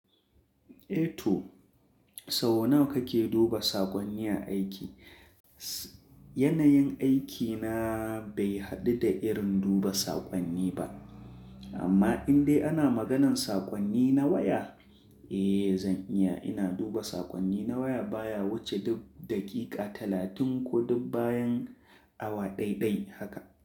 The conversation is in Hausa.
Eh to, sau nawa kake duba sakonni a aiki? Yanayin aikina bai haɗu da irin duba sakonni ba. Amma in dai ana maganan saƙonni na waya, eh zan iya. Ina duba saƙonni na waya, baya wuce duk daƙiƙa talatin ko duk bayan awa ɗai-ɗai haka.